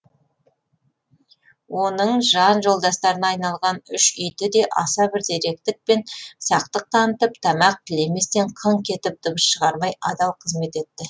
оның жан жолдастарына айналған үш иті де аса бір зеректік пен сақтық танытып тамақ тілеместен қыңқ етіп дабыс шығармай адал қызмет етті